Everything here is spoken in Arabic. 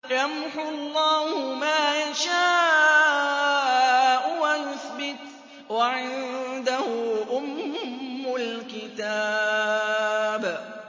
يَمْحُو اللَّهُ مَا يَشَاءُ وَيُثْبِتُ ۖ وَعِندَهُ أُمُّ الْكِتَابِ